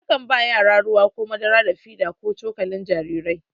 A kan ba yara ruwa ko madara da fida ko da cokalin jariri.